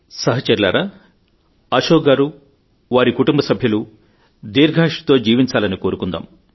సహచరులారా అశోక్ గారు వారి కుటుంబ సభ్యులు దీర్ఘాయుస్సుతో జీవించాలని కోరుకుందాం